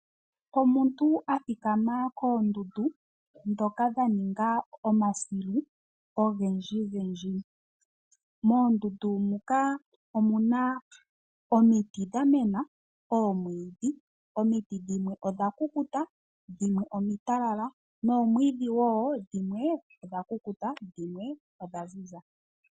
Omuntu a thikama koondundu dhoka dha ninga omasilu ogendji gendji. Moondundu muka omuna omiti dha mena, oomwiidhi, omiti dhimwe odha kukuta. Dhimwe omitalala, noomwiidhi wo dhimwe odha kukuta, dhimwe odha ziza.